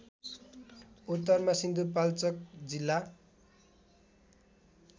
उत्तरमा सिन्धुपाल्चोक जिल्ला